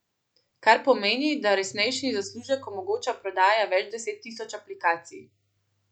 Kar pomeni, da resnejši zaslužek omogoča prodaja več deset tisoč aplikacij.